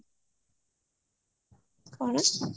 କଣ